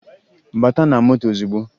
Bata na moto ozugbo!